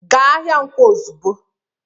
Gaa ahịa Nkwo ozugbo!